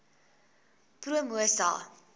promosa